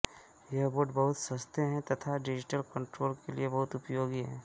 ये बोर्ड बहुत सस्ते हैं तथा डिजिटल कन्ट्रोल के लिए बहुत उपयोगी हैं